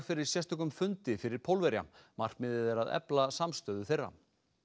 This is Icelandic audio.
fyrir sérstökum fundi fyrir Pólverja markmiðið er að efla samstöðu þeirra